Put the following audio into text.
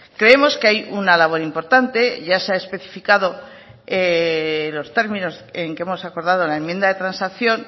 creemos que hay una labor importante y ya se ha especificado en los términos en que hemos acordado en la enmienda de transacción